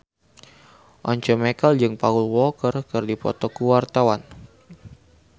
Once Mekel jeung Paul Walker keur dipoto ku wartawan